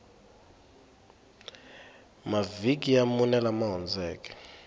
mavhiki ya mune lama hundzeke